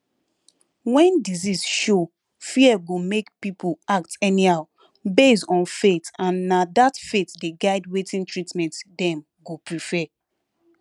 when disease show fear go make people act anyhow based on faith and na that faith dey guide wetin treatment dem go prefer